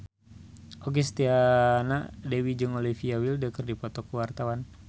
Okky Setiana Dewi jeung Olivia Wilde keur dipoto ku wartawan